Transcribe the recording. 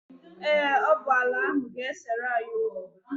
Ee, ọ bụ ala ahụ ga-esere anyị okwu.